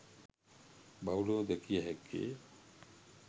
බහුලව දැකිය හැක්කේ